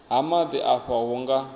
ha maḓi afha hu nga